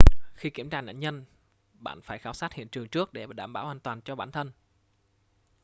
khi kiểm tra nạn nhân bạn phải khảo sát hiện trường trước để bảo đảm an toàn cho bản thân